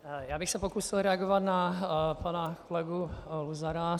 Já bych se pokusil reagovat na pana kolegu Luzara.